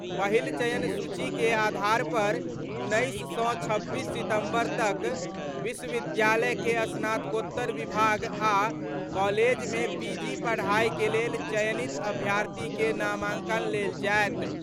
पहिल चयन सूची के आधार पर 19 सं 26 सितंबर तक विश्वविद्यालय के स्नातकोत्तर विभाग आ कॉलेज मे पीजी पढ़ाई के लेल चयनित अभ्यर्थी के नामांकन लेल जायत।